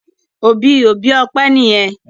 Òbí òbí Ope níyen.